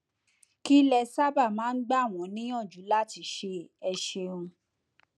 kí lẹ sábà máa ń gbà wọn níyànjú láti ṣe ẹ ṣeun